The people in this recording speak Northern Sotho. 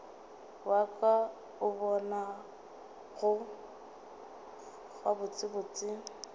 wa ka o bonago gabotsebotse